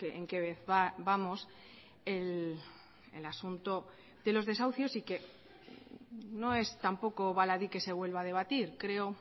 en qué vez vamos el asunto de los desahucios y que no es tampoco baladí que se vuelva a debatir creo